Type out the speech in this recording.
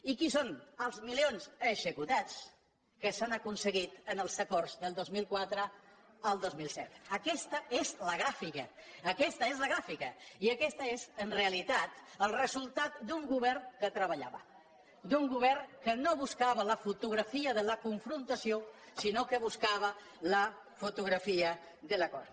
i quins són els milions executats que s’han acon seguit en els acords del dos mil quatre al dos mil set aquesta és la gràfica aquesta és la gràfica i aquest és en reali·tat el resultat d’un govern que treballava d’un govern que no buscava la fotografia de la confrontació sinó que buscava la fotografia de l’acord